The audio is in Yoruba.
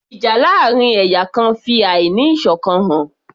Ìjà láàrin ẹ̀yà kan fi àí ní ìṣọ̀kan hàn